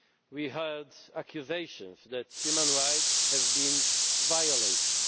We heard accusations that human rights have been violated.